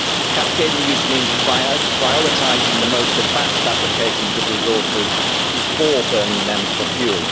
Cascading use' means prioritising the most advanced applications of resources before burning them for fuel.